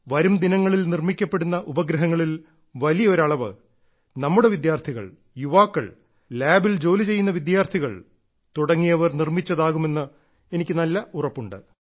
വരും ദിനങ്ങളിൽ നിർമ്മിക്കപ്പെടുന്ന ഉപഗ്രഹങ്ങളിൽ വലിയ ഒരു അളവ് നമ്മുടെ വിദ്യാർത്ഥികൾ യുവാക്കൾ ലാബിൽ ജോലി ചെയ്യുന്ന വിദ്യാർത്ഥികൾ തുടങ്ങിയവർ നിർമ്മിച്ചതാകുമെന്ന് എനിക്ക് നല്ല ഉറപ്പുണ്ട്